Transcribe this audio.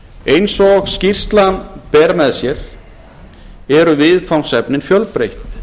eins og skýrslan ber með sér eru viðfangsefnin fjölbreytt